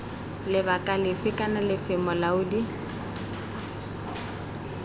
lebaka lefe kana lefe molaodi